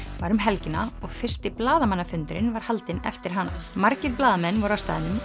var um helgina og fyrsti blaðamannafundurinn var haldinn eftir hana margir blaðamenn voru á staðnum